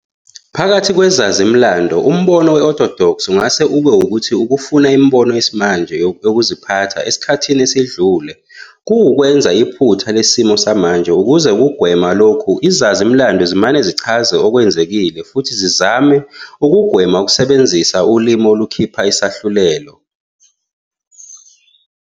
Phakathi kwezazi-mlando, umbono we-orthodox ungase ube ukuthi ukufunda imibono yesimanje yokuziphatha esikhathini esidlule kuwukwenza iphutha lesimo samanje. Ukuze kugwenywe lokhu, izazi-mlando zimane zichaze okwenzekile futhi zizame ukugwema ukusebenzisa ulimi olukhipha isahlulelo.